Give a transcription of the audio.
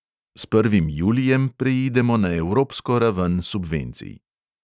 S prvim julijem preidemo na evropsko raven subvencij.